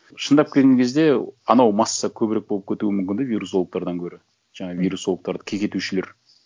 шындап келген кезде анау масса көбірек болып кетуі мүмкін де вирусологтардан гөрі жаңағы вирусологтарды кекетушілер